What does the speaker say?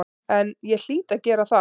En ég hlýt að gera það.